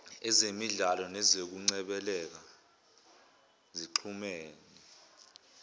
ezemidlalo nezokungcebeleka zixhumene